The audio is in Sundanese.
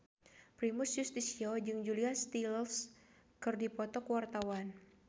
Primus Yustisio jeung Julia Stiles keur dipoto ku wartawan